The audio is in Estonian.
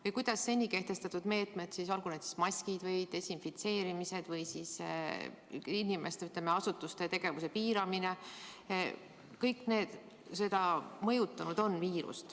Või kuidas on seni kehtestatud meetmed, olgu need maskid või desinfitseerimised või siis inimeste-asutuste tegevuse piiramine, viiruse levikut mõjutanud.